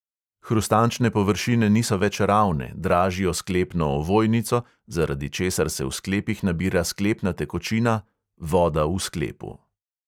Hrustančne površine niso več ravne, dražijo sklepno ovojnico, zaradi česar se v sklepih nabira sklepna tekočina – voda v sklepu.